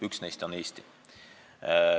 Üks neist on Eesti.